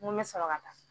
N ko n bɛ sɔrɔ ka taa